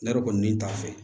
Ne yɛrɛ kɔni n'i t'a fɛ